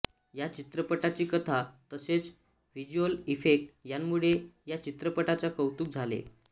या चित्रपटाची कथा तसेच व्हिज्युअल इफेक्ट यांमुळे या चित्रपटाचे कौतुक झाले